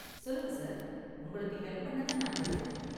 சொல்லுங்க சார், உங்களுக்கு ஹெல்ப் பண்ண தான் நாங்க இருக்கோம்.